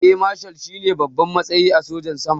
Eya mashal shine babban matsayi a sojan sama